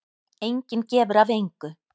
Enginn gefur af engu.